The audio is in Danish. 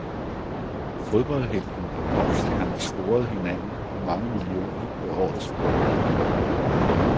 Fodboldhelten og popstjernen scorede hinanden og mange millioner ved årets bryllup.